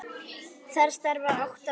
Þar starfa átta manns.